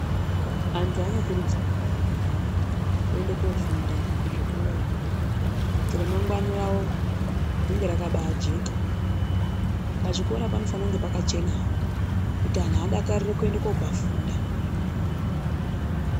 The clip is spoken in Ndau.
Anthu anokurudzirwa kuenda kuzvikora kofunda kuti remangwani ravo rive rakabajeka. Pachikora panofanira kuva pakachenawo kuti anthu aone kufunda veidakara uye kuti varambe veida kopafunda.